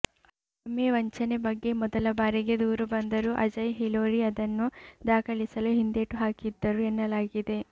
IMA ವಂಚನೆ ಬಗ್ಗೆ ಮೊದಲ ಬಾರಿಗೆ ದೂರು ಬಂದರೂ ಅಜಯ್ ಹಿಲೋರಿ ಅದನ್ನು ದಾಖಲಿಸಲು ಹಿಂದೇಟು ಹಾಕಿದ್ದರು ಎನ್ನಲಾಗಿದೆ